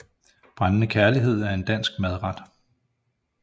Brændende kærlighed er en dansk madret